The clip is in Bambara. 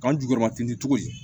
K'an jukɔrɔma ten ni cogo ye